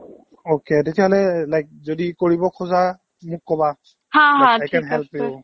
okay, তেতিয়াহ'লে like যদি কৰিব খোজা মোক ক'বা i can help you